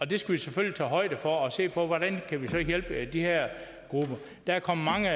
det skal vi selvfølgelig tage højde for og se på hvordan vi kan hjælpe de her grupper der er kommet mange